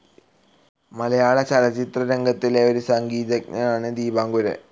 മലയാളചലച്ചിത്രരംഗത്തിലെ ഒരു സംഗീതജ്ഞനാണ് ദീപാങ്കുരൻ.